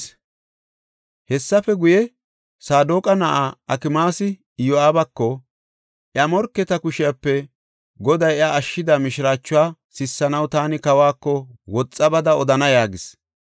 Hessafe guye, Saadoqa na7aa Akimaasi Iyo7aabako, “Iya morketa kushepe Goday iya ashshida mishiraachuwa sissanaw taani kawako woxa bada odana” yaagis.